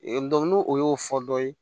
n'o o y'o fɔ dɔ ye